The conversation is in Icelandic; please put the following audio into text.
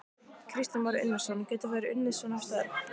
Kristján Már Unnarsson: Geta þær unnið svona störf?